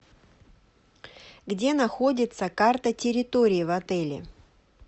где находится карта территории в отеле